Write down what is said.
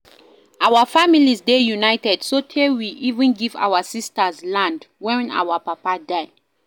Our family dey united so tey we even give our sisters land wen our papa die